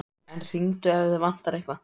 En hringdu ef þig vantar eitthvað.